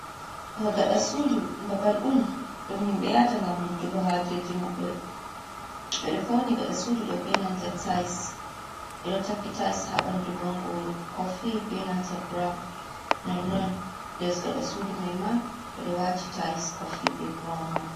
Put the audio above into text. Gaɗa sudu ɗum babal on ɗum himbe yahata ngam humtugo hajeji mabbe. Ɓedo fawni gaɗa sudu ɗo be nanta tayis, ɓeɗo takki tayis ha ɓandu bongoro kofi be nanta burawn. Nonnon less gaɗa sudu may ma ɓedo wati tayis kofi be burawun may.